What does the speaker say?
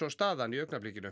staðan í augnablikinu